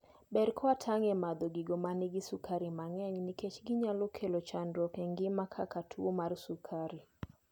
ber kawatang' e madho gigo manigi sukari mang'eny nikech ginyalo kelo chandruok e ngima kaka tuo mar sukari